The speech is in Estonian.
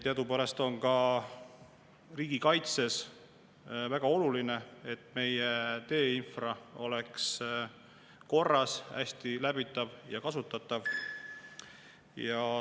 Teadupärast on ka riigikaitses väga oluline, et meie teeinfra oleks korras, hästi läbitav ja kasutatav.